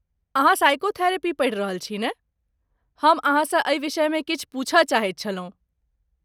अहाँ साइकोथेरेपी पढ़ि रहल छी ने, हम अहाँसँ एहि विषयमे किछु पूछय चाहैत छलहुँ।